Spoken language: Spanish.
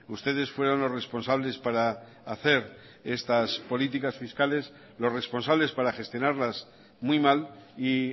ustedes fueron los responsables para hacer estas políticas fiscales los responsables para gestionarlas muy mal y